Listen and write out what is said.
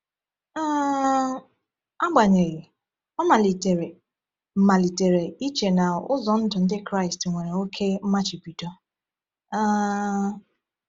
um Agbanyeghị, o malitere malitere iche na ụzọ ndụ Ndị Kraịst nwere oke mmachibido. um